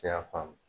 Cɛ ya faamu